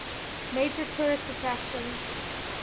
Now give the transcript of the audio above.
major tourist attractions